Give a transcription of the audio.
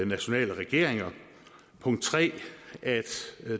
nationale regeringer punkt 3